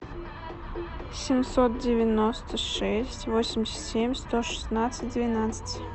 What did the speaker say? семьсот девяносто шесть восемьдесят семь сто шестнадцать двенадцать